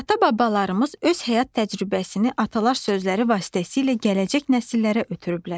Ata-babalarımız öz həyat təcrübəsini atalar sözləri vasitəsilə gələcək nəsillərə ötürüblər.